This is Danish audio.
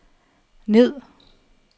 ned